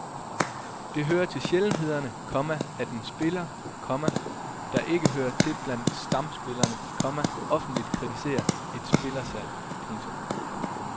Det hører til sjældenhederne, komma at en spiller, komma der ikke hører til blandt stamspillerne, komma offentligt kritiserer et spillersalg. punktum